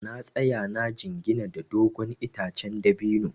Na tsaya na jingina da dogon itacen dabino.